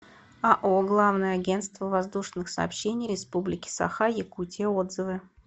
ао главное агентство воздушных сообщений республики саха якутия отзывы